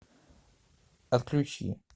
отключи